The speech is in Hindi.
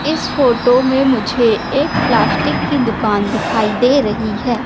इस फोटो में मुझे एक प्लास्टिक की दुकान दिखाई दे रही है।